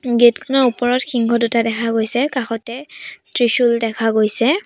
Gate খনৰ ওপৰত সিংহ দুটা দেখা গৈছে কাষতে ত্ৰিশূল দেখা গৈছে।